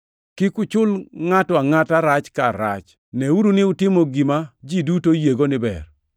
Kik uchul ngʼato angʼata rach kar rach. Neuru ni utimo gima ji duto oyiego ni ber.